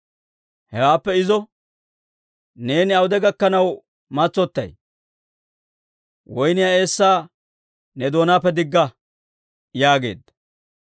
Hewaappe izo, «Neeni awude gakkanaw matsotay? Woynniyaa eessaa ne doonaappe digga» yaageedda.